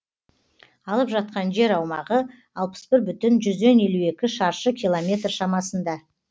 алып жатқан жер аумағы алпыс бір бүтін жүзден елу екі шаршы километр шамасында